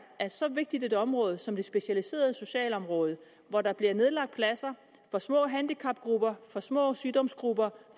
at så vigtigt et område som det specialiserede socialområde hvor der bliver nedlagt pladser for små handicapgrupper for små sygdomsgrupper